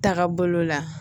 Taga bolo la